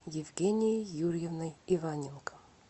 евгенией юрьевной иваненко